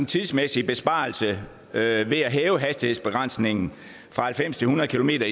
tidsmæssige besparelse ved ved at hæve hastighedsbegrænsningen fra halvfems til hundrede kilometer